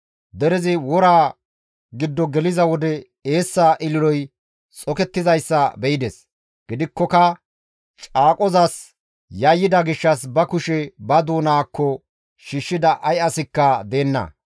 Derezi woraa giddo geliza wode eessa ililoy xokettizayssa be7ides. Gidikkoka caaqozas yayyida gishshas ba kushe ba doonaakko shiishshida ay asikka deenna.